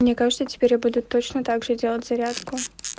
мне кажется теперь я буду точно также делать зарядку